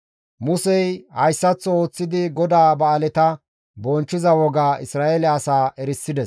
Musey hayssaththo ooththidi GODAA ba7aaleta bonchchiza wogaa Isra7eele asaa erisides.